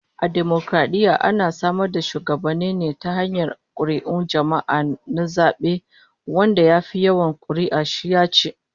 A dimokaradiyya ana samar da shugabanni ne ta hanyar kuri'un jama'a na zabe, wanda ya fi yawan kuri'u shi yaci